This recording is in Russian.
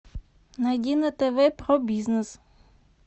найди на тв про бизнес